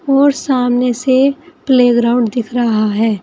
और सामने से प्लेग्राउंड दिख रहा है।